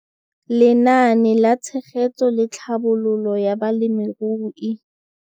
Lenaane la Tshegetso le Tlhabololo ya Balemirui.